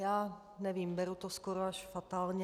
Já nevím, beru to skoro až fatálně.